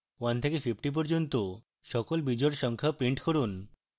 1 থেকে 50 পর্যন্ত সমস্ত বিজোড় সংখ্যা print করুন